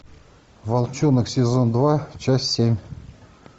волчонок сезон два часть семь